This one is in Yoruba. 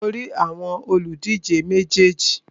Mo rí àwọn òlùdíje méjèèjì.